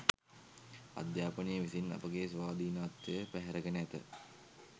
අධ්‍යාපනය විසින් අපගේ ස්වාධීනත්වය පැහැරගෙන ඇත